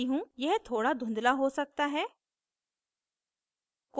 यह थोड़ा धुंधला हो सकता है